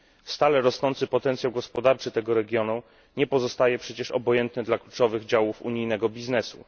Stale rosnący potencjał gospodarczy tego regionu nie pozostaje przecież obojętny dla kluczowych działów unijnego biznesu.